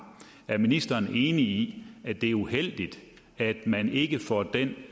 er ministeren enig i at det er uheldigt at man ikke får den